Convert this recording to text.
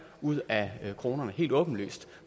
ud af kronerne helt åbenlyst